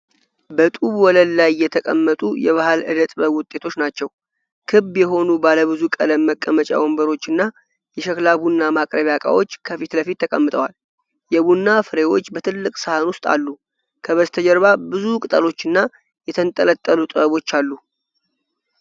በጡብ ወለል ላይ እተቀመጡ የባህል እደ ጥበብ ውጤቶች ናቸው። ክብ የሆኑ ባለብዙ ቀለም መቀመጫ ወንበሮችና የሸክላ ቡና ማቅረቢያ እቃዎች ከፊት ለፊት ተቀምጠዋል። የቡና ፍሬዎች በትልቅ ሳህን ውስጥ አሉ። ከበስተጀርባ ብዙ ቅጠሎች እና የተንጠለጠሉ ጥበቦች አሉ።